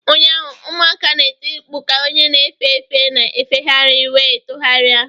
Ụnyaahụ, ụmụaka na-eti mkpu ka onye na-efe efe na-efegharị wee tụgharịa